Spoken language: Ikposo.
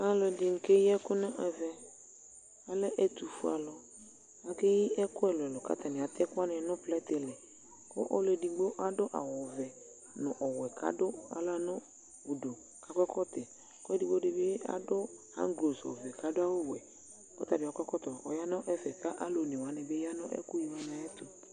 Alu ɛdini kɛyi ɛku nu ɛvɛAlɛ ɛtu fue aluAkɛyi ɛku ɛluɛluɛlu ku atani atɛ ɛku nu plɛtɛ li Ɔlu ɛdigbo adu awu vɛ nu ɔwɛ ka du aɣla nu uduKa kɔ ɛkɔtɔɛKu ɛdigbo di bi hanglos ɔvɛ, kadu awu wɛKɔ ta bi akɔ ɛkɔtɔ kɔya nɛfɛ Ku alɔ ɔne wani ya nu ɛku yi wani ayɛtu